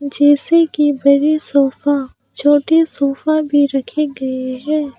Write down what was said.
जैसे कि बड़े सोफा छोटे सोफा भी रखे गए हैं।